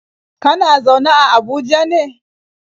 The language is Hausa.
Kana zaune a Abuja ne?